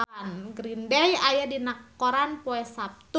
Green Day aya dina koran poe Saptu